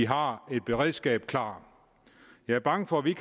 har et beredskab klart jeg er bange for vi